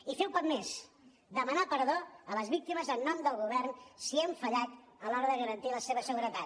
i fer un pas més demanar perdó a les víctimes en nom del govern si hem fallat a l’hora de garantir la seva seguretat